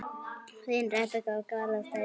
Þín, Rebekka og Garðar Steinn.